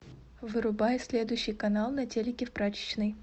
вырубай следующий канал на телике в прачечной